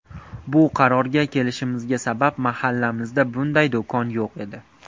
Bu qarorga kelishimizga sabab, mahallamizda bunday do‘kon yo‘q edi.